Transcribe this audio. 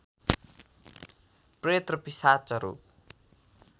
प्रेत र पिशाचहरु